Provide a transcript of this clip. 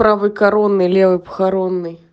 правый коронный левый похоронный